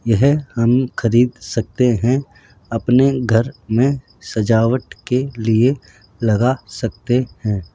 यह हम खरीद सकते हैं अपने घर में सजावट के लिए लगा सकते हैं।